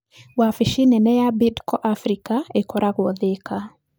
Wabici nene ya Bidco Africa ĩkoragwo Thĩka.